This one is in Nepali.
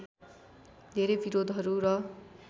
धेरै विरोधहरू र